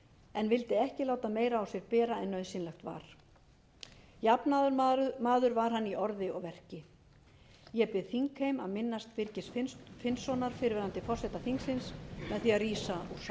en vildi ekki láta meira á sér bera en nauðsynlegt var jafnaðarmaður var hann í orði og verki ég bið þingheim að minnast birgis finnssonar fyrrverandi forseta þingsins með